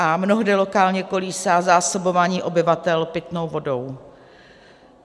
A mnohdy lokálně kolísá zásobování obyvatel pitnou vodou.